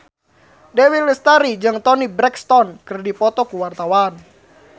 Dewi Lestari jeung Toni Brexton keur dipoto ku wartawan